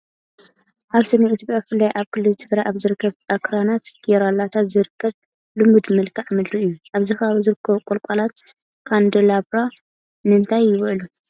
ኣብ ሰሜን ኢትዮጵያ ብፍላይ ኣብ ክልል ትግራይ ኣብ ዝርከብ ኣኽራናት ጌራልታ ዝርከብ ልሙድ መልክዓ ምድሪ እዩ። ኣብዚ ከባቢ ዝርከቡ ቆሎቆላት ካንደላብራ ንእንታይ ይውዕሉ?